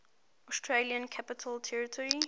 australian capital territory